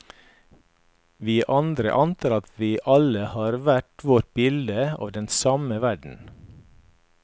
Vi andre antar at vi alle har hvert vårt bilde av den samme verden.